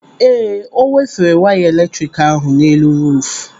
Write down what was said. Ee, ọ wefere waya eletrik ahụ n'elu ruufu.